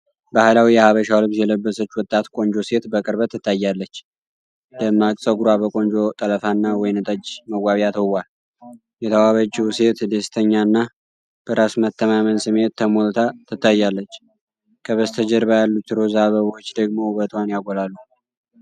ባህላዊ የሐበሻ ልብስ የለበሰች ወጣት ቆንጆ ሴት በቅርበት ትታያለች፤ ደማቅ ፀጉሯ በቆንጆ ጠለፋና ወይን ጠጅ መዋቢያ ተውቧል። የተዋበችው ሴት ደስተኛና በራስ መተማመን ስሜት ተሞልታ ትታያለች፤ ከበስተጀርባ ያሉት ሮዝ አበቦች ደግሞ ውበቷን ያጎላሉ።